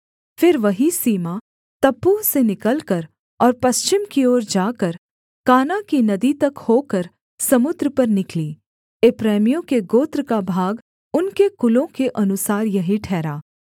फिर वही सीमा तप्पूह से निकलकर और पश्चिम की ओर जाकर काना की नदी तक होकर समुद्र पर निकली एप्रैमियों के गोत्र का भाग उनके कुलों के अनुसार यही ठहरा